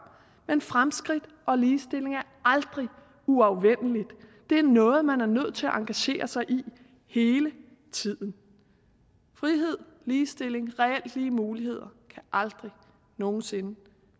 men fremskridt og ligestilling er aldrig uafvendelige det er noget man er nødt til at engagere sig i hele tiden frihed ligestilling reelt lige muligheder kan aldrig nogen sinde